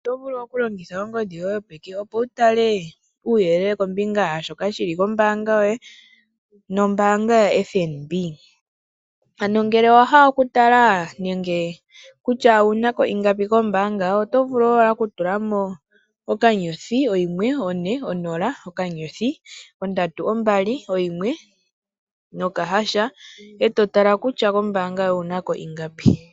Oto vulu okulongitha ongodhi yoye yopeke opo wutale uuyelele kombinga yaashoka shili kombaanga yoye nombaanga yoFNB. Ano ngele owahala okutala nenge kutya owunako ingapi kombaanga oto vulu wala okutulamo *140*321# e totala kutya kombaanga yoye owunako ingapi.